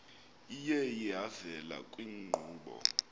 iye yavela kwiinkqubo